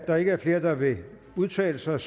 der ikke er flere der vil udtale sig